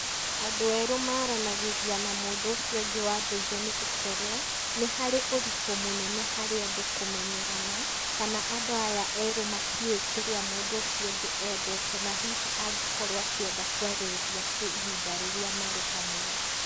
Andũ erũ maranagĩria na mũndũ ũcio ũngĩ wa ndũire nĩ gũkorwo, nĩ harĩ ũritũ mũnene harĩ andũ kũmenyerana kana andũ aya erũ matiũĩ kĩrĩa mũndũ ũcio ũngĩ endete, na hihi angĩkorwo akĩenda kwarĩrĩria kĩ ihinda rĩrĩa marĩ hamwe.